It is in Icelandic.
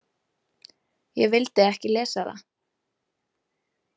Ég vildi ekki lesa það.